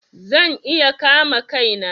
Zan iya kama Kai na.